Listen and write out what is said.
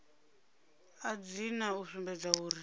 a dzina u sumbedza uri